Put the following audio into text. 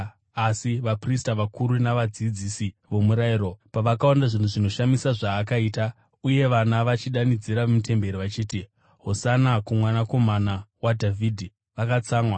Asi vaprista vakuru navadzidzisi vomurayiro pavakaona zvinhu zvinoshamisa zvaakaita, uye vana vachidanidzira mutemberi vachiti, “Hosana kuMwanakomana waDhavhidhi,” vakatsamwa.